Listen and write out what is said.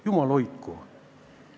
Jumal hoidku!